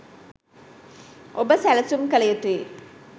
ඔබ සැලසුම් කල යුතුයි.